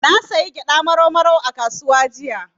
Na sayi gyaɗa Marau Marau a kasuwa jiya.